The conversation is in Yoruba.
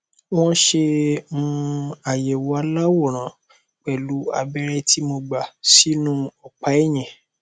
wọn ṣe um àyẹwò aláwòrán pẹlú abẹrẹ tí mo gbà sínú ọpá ẹyìn